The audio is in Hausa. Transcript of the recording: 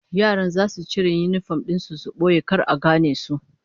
Yaran zasu cire yinifom din su su boye don kar a gane su